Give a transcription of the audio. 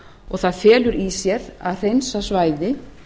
og það felur í sér að hreinsa svæðið